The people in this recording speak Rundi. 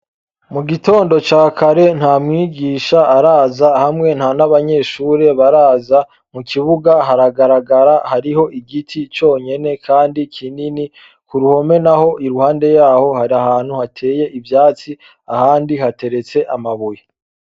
Mugitondo ca kare ntamwigisha araza hamwe nta nabanyeshure baraza, mukibuga haragaragara hariho igiti conyene kandi kinini, kuruhome naho iruhande yaho hari ahantu hateye ivyatsi ahandi hateretse amabuye.